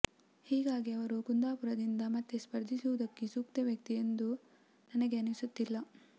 ಹೀಗಾಗಿ ಅವರು ಕುಂದಾಪುರದಿಂದ ಮತ್ತೆ ಸ್ಪರ್ಧಿಸುವುದಕ್ಕೆ ಸೂಕ್ತ ವ್ಯಕ್ತಿ ಎಂದು ನನಗೆ ಅನಿಸುತ್ತಿಲ್ಲ